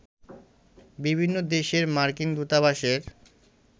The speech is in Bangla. বিভিন্ন দেশের মার্কিন দূতাবাসের